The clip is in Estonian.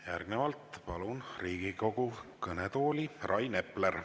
Järgnevalt palun Riigikogu kõnetooli Rain Epleri.